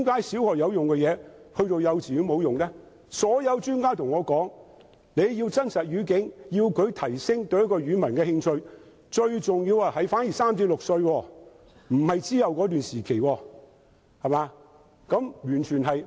所有專家均對我說，如要提供真實語境，以提升學生對某一種語文的興趣，最重要的時間是在他們3至6歲時，而不是較後的時期。